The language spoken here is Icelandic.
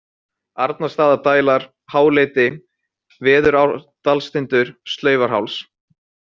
Arnarstaðadælar, Háleiti, Veðurárdalstindur, Slaufarháls